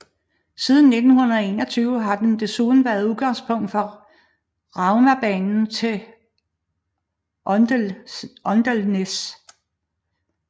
Siden 1921 har den desuden været udgangspunkt for Raumabanen til Åndalsnes